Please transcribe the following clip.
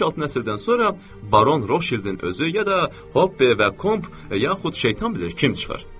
Beş-altı nəsildən sonra Baron Roşildin özü, ya da Hopbe və Komp, yaxud şeytan bilir kim çıxır.